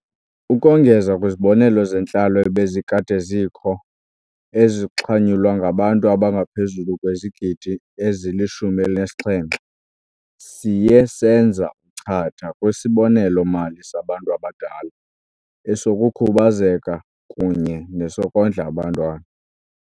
Ukongeza kwizibonelelo zentlalo ebezikade zikho, ezixhanyulwa ngabantu abangaphezulu kwezigidi ezili-17, siye senza uchatha kwiSibonelelo-mali saBantu Abadala, esokuKhubazeka kunye nesoKondla aBantwana.